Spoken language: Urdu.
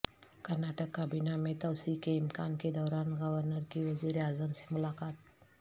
کرناٹک کابینہ میں توسیع کے امکان کے دوران گورنر کی وزیراعظم سے ملاقات